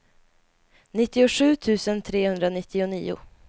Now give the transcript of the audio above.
nittiosju tusen trehundranittionio